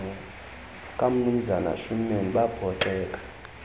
kamnumzana schoeman baphoxeka